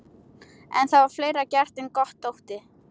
En það var fleira gert en gott þótti.